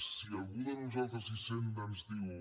si a algú de nosaltres hisenda ens diu